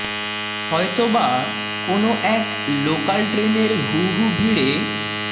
হয়তো বা কোনও এক লেকা্যাল ট্রেনের হু হু ভিড়ে